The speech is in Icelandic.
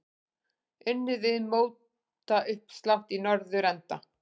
Unnið við mótauppslátt í norðurenda.